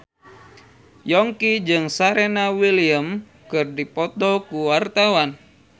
Yongki jeung Serena Williams keur dipoto ku wartawan